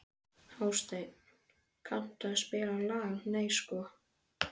Hásteinn, kanntu að spila lagið „Nei sko“?